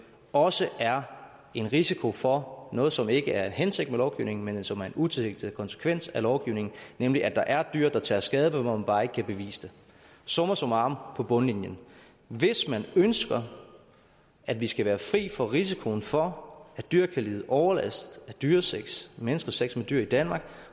også er en risiko for noget som ikke er en hensigt med lovgivningen men som er en utilsigtet konsekvens af lovgivningen nemlig at der er dyr der tager skade men hvor man bare ikke kan bevise det summa summarum på bundlinjen hvis man ønsker at vi skal være fri for risikoen for at dyr kan lide overlast af dyresex menneskers sex med dyr i danmark